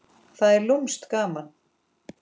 Það er lúmskt gaman.